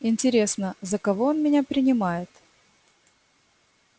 интересно за кого он меня принимает